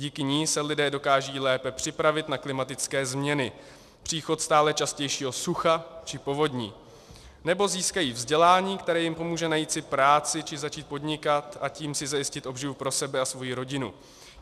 Díky ní se lidé dokážou lépe připravit na klimatické změny - příchod stále častějšího sucha či povodní - nebo získají vzdělání, které jim pomůže najít si práci či začít podnikat, a tím si zajistit obživu pro sebe a svoji rodinu.